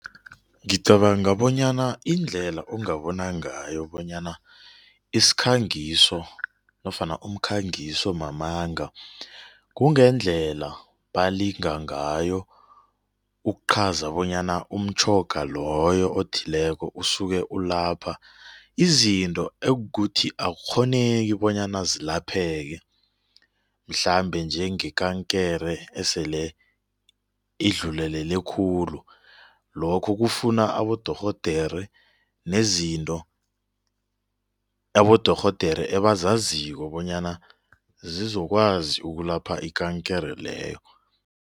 Ngicabanga bonyana indlela ongabona ngayo bonyana isikhangiso nofana umkhangiso mamanga kungendlela balinga ngayo ukuqhaza bonyana umtjhoga loyo othileko usuke ulapha izinto ekuthi akukghoneki bonyana zilapheke mhlambe njengekankere esele idlulelele khulu lokho kufuna abodorhodere nezinto abodorhodere ebazaziko bonyana zizokwazi ukulapha ikankere leyo.